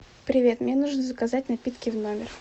привет мне нужно заказать напитки в номер